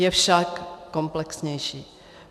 Je však komplexnější.